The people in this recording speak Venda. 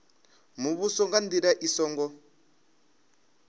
muvhuso nga ndila i songo